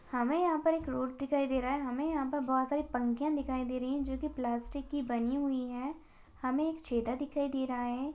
हमें यहां पर एक रोड दिखाई दे रहा है हमें यहां पर बहुत सारी पंक्तियां दिखाई दे रही है जो की प्लास्टिक की बनी हुई है हमें छेड़ा दिखाई दे रहा है।